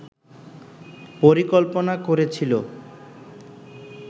পরিকল্পনা করেছিল